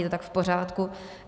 Je to tak v pořádku.